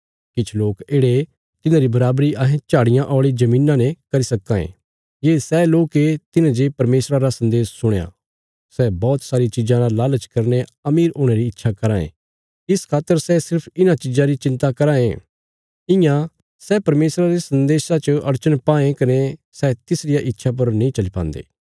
किछ लोक येढ़े तिन्हांरी बराबरी अहें झाड़ियां औल़िया धरतिया ने करी सक्कां ए ये सै लोक ये तिन्हें जे परमेशरा रा सन्देश सुणया सै बौहत सारी चिज़ां रा लालच करीने अमीर हुणे री इच्छा कराँ ये इस खातर सै सिर्फ इन्हां चिज़ां री चिन्ता कराँ ये इयां सै परमेशरा रे सन्देशा च अड़चन पाएं कने सै तिसरिया इच्छा पर नीं चली पान्दे